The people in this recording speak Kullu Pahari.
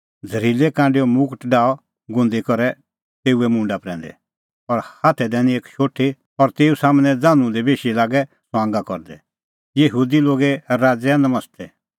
और झ़रीलै कांडैओ मुगट डाहअ गुंदी करै तेऊए मुंडा प्रैंदै और हाथै दैनी एक शोठी और तेऊ सम्हनै ज़ान्हूं दी बेशी लागै ठठै करदै हे यहूदी लोगे राज़ैआ नमस्ते